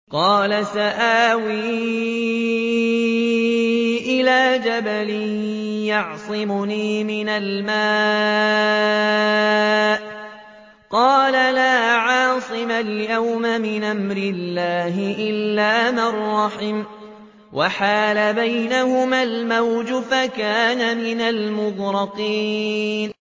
قَالَ سَآوِي إِلَىٰ جَبَلٍ يَعْصِمُنِي مِنَ الْمَاءِ ۚ قَالَ لَا عَاصِمَ الْيَوْمَ مِنْ أَمْرِ اللَّهِ إِلَّا مَن رَّحِمَ ۚ وَحَالَ بَيْنَهُمَا الْمَوْجُ فَكَانَ مِنَ الْمُغْرَقِينَ